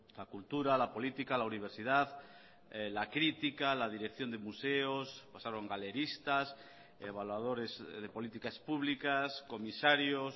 la cultura la política la universidad la crítica la dirección de museos pasaron galeristas evaluadores de políticas públicas comisarios